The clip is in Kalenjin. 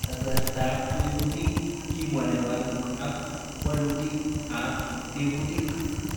Kasarta ab tebutik, kimwa Nepal ak walutik ab tebutik